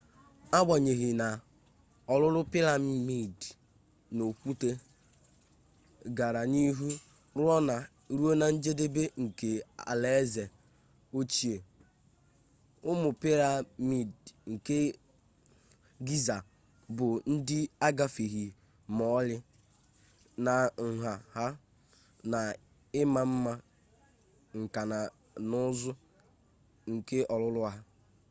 agbanyeghị na ọrụrụ-piramidi n'okwute gara n'ihu ruo na njedebe nke alaeze ochie ụmụ piramidi nke giza bụ ndị agafeghị ma ọlị na nha ha na ima mma nka na ụzụ nke ọrụrụ ha